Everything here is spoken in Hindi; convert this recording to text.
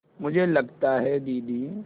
मुझे लगता है दीदी